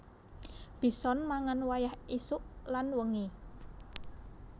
Bison mangan wayah ésuk lan wengi